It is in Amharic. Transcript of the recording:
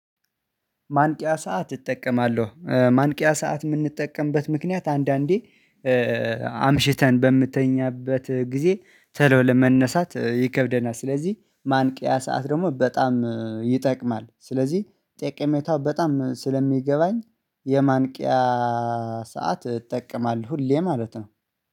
ማንቂያ ሰዓት እጠቀማለሁ ማንቂያ ሰዓት የምንጠቀምበት ምክንያት አንዳንዴ አምሽተን በምትተኛበት ጊዜ ቶሎ ለመነሳት ይከብደናል። ስለዚህ ማንቂያ ሰዓት ደግሞ በጣም ይጠቅማል ስለዚህ ጠቀሜታው በጣም ስለሚገባኝ የማንቂያ ሰዓት እጠቀማለሁ። ሁሌ ማለት ነው